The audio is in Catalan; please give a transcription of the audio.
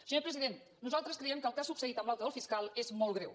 senyor president nosaltres creiem que el que ha succeït amb l’aute del fiscal és molt greu